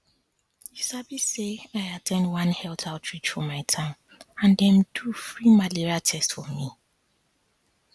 you sabi say i at ten d one health outreach for my town and dem do free malaria test for me